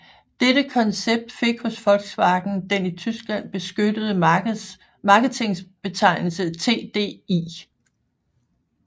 Dette koncept fik hos Volkswagen den i Tyskland beskyttede marketingbetegnelse TDI